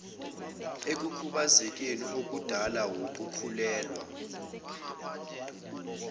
ekukhubazekeni okudalwa wukukhulelwa